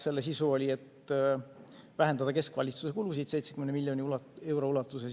Selle sisu oli, et vähendada keskvalitsuse kulusid 70 miljoni euro ulatuses.